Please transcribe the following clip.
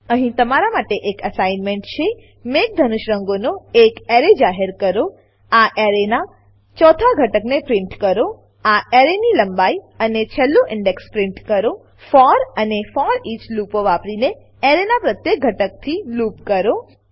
અહીં તમારી માટે એક એસાઈનમેંટ છે મેઘધનુષ રંગોનો એક એરે જાહેર કરો આ એરેનાં 4થા ઘટકને પ્રીંટ કરો આ એરેની લંબાઈ અને છેલ્લું ઇન્ડેક્સ પ્રીંટ કરો ફોર ફોર અને ફોરીચ ફોરઈચ લૂપો વાપરીને એરેનાં પ્રત્યેક ઘટકથી લૂપ કરો